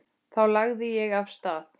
Þá lagði ég af stað.